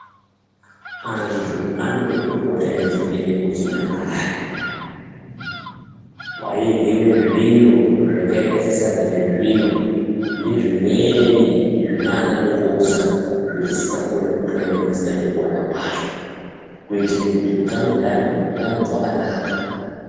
Antu anode kupota eidzokere kuchinyakare kwairyiwe zviro zvakaite sesadza rezviyo nezvimweni zvinana mungoza zvetisingakoni kubhuya ngemazita ngekuwanda kwazvo kuitire kuti utano hwaantu hurambe hwakanaka.